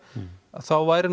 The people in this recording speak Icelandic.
þá væri